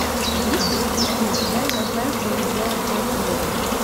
есть ли у тебя я знаю что вы сделали прошлым летом